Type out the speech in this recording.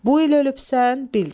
Bu il ölübsən bildir.